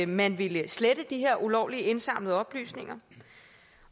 man ville slette de her ulovligt indsamlede oplysninger